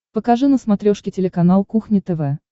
покажи на смотрешке телеканал кухня тв